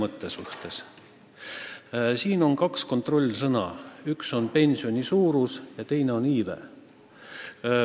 Selle probleemi puhul on kaks kontrollsõna: üks on pensioni suurus ja teine on iive.